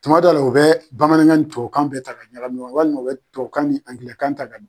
Tumadɔ la u bɛ bamanankan ni tubabu kan bɛɛ ta ɲagamin ɲɔgɔn na walima u bɛ tubabu kan ni Angilɛ kan ta